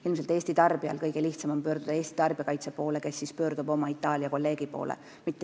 Ilmselt on Eesti tarbijal kõige lihtsam pöörduda Eesti tarbijakaitse poole, kes siis pöördub oma Itaalia kolleegi poole.